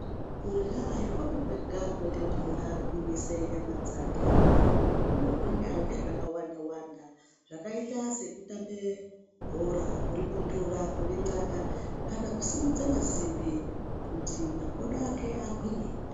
Kurwa aikupi kwega kunoite kuti muntu agwinyise nyama dzake muntu unogwinya ngezvakawanda wanda zvakaite sekutambe bhora kuripuntura kurixaka kana kusimudze masimbi kuti makodo ake agwinye